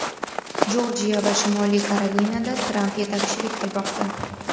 Jorjiya va Shimoliy Karolinada Tramp yetakchilik qilmoqda.